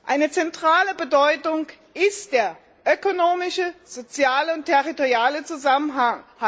Eine zentrale Bedeutung ist der ökonomische, soziale und territoriale Zusammenhalt.